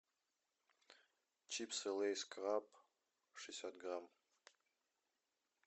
чипсы лейс краб шестьдесят грамм